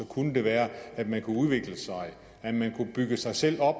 kunne være at man kunne udvikle sig bygge sig selv op